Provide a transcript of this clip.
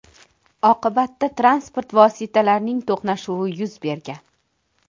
Oqibatda transport vositalarining to‘qnashuvi yuz bergan.